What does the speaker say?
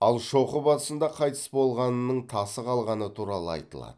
ал шоқы басында қайтыс болғанының тасы қалғаны туралы айтылады